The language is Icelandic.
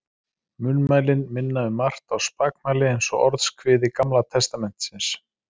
Munnmælin minna um margt á spakmæli eins og Orðskviði Gamla testamentisins.